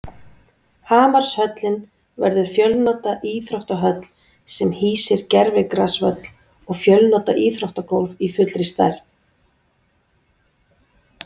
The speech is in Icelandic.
Hamarshöllin verður fjölnota íþróttahöll sem hýsir gervigrasvöll og fjölnota íþróttagólf í fullri stærð.